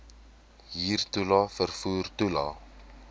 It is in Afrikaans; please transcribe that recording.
huurtoelae vervoer toelae